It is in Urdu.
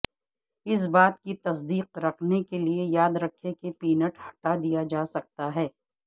اس بات کی تصدیق کرنے کے لئے یاد رکھیں کہ پینٹ ہٹا دیا جاسکتا ہے